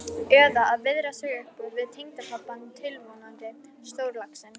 Eða að viðra sig upp við tengdapabbann tilvonandi, stórlaxinn.